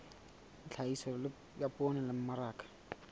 tlhahiso ya poone le mmaraka